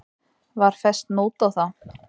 Var fest nót á þá.